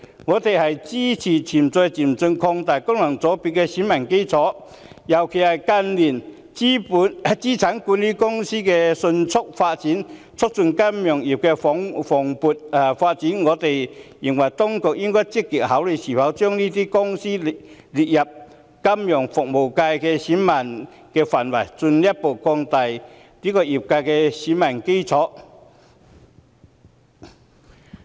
我們支持循序漸進擴大功能界別的選民基礎，尤其因為資產管理公司近年發展迅速，促進金融業的蓬勃發展，我們認為當局應積極考慮是否將這些公司納入金融服務界的選民範圍，進一步擴大界別的選民基礎。